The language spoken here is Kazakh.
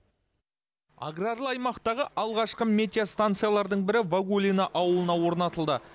аграрлы аймақтағы алғашқы метеостанциялардың бірі вагулино ауылына орнатылды